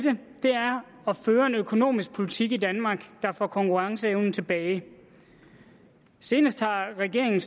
at føre en økonomisk politik i danmark der får konkurrenceevnen tilbage senest har regeringen